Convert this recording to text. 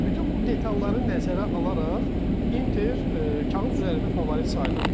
Bütün bu detalları nəzərə alaraq Inter kağız üzərində favorit sayılırdı.